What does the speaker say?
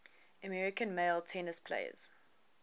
american male tennis players